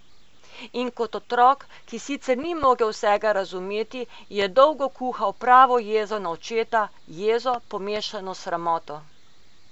In kot otrok, ki sicer ni mogel vsega razumeti, je dolgo kuhal pravo jezo na očeta, jezo, pomešano s sramoto.